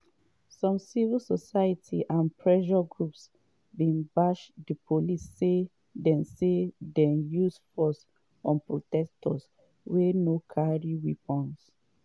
some civil society and pressure groups bin bash di police say dey say dey use force on protesters wia no carry weapons.